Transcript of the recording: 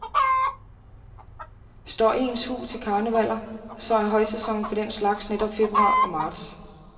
Står ens hu til karnevaller, så er højsæsonen for den slags netop februar og marts.